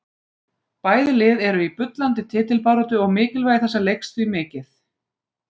Bæði lið eru í bullandi titilbaráttu og mikilvægi þessa leiks því mikið.